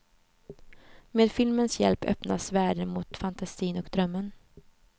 Med filmens hjälp öppnas världen mot fantasin och drömmen.